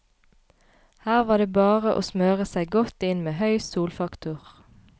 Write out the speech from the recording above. Her var det bare og smøre seg godt inn med høy solfaktor.